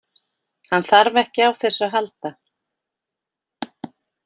Hann þarf ekki á þessu að halda.